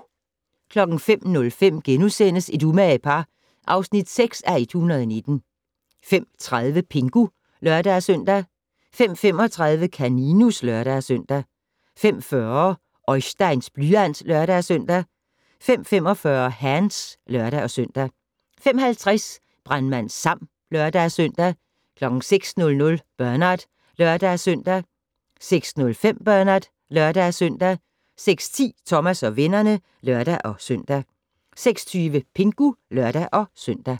05:05: Et umage par (6:119)* 05:30: Pingu (lør-søn) 05:35: Kaninus (lør-søn) 05:40: Oisteins blyant (lør-søn) 05:45: Hands (lør-søn) 05:50: Brandmand Sam (lør-søn) 06:00: Bernard (lør-søn) 06:05: Bernard (lør-søn) 06:10: Thomas og vennerne (lør-søn) 06:20: Pingu (lør-søn)